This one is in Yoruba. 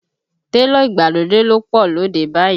Télọ̀ ìgbàlódé ló pọ̀ lóde báyìí